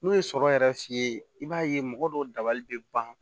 N'o ye sɔrɔ yɛrɛ f'i ye i b'a ye mɔgɔ dɔw dabali bɛ ban